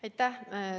Aitäh!